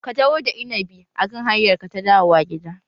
Ka taho da innabi a kan hanyar ka ta dawowa gida!